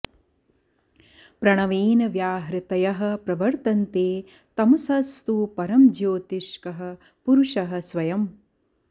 प्रणवेन व्याहृतयः प्रवर्तन्ते तमसस्तु परं ज्योतिष्कः पुरुषः स्वयम्